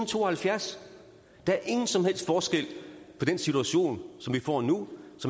to og halvfjerds der er ingen som helst forskel på den situation som vi får nu